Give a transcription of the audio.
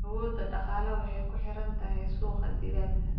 Awoodda dhaqaale waxay ku xiran tahay suuqa digaaga.